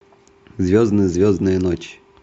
звездная звездная ночь